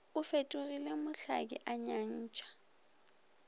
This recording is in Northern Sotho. o fetogile mohlaki a nyentšha